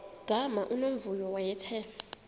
gama unomvuyo wayethe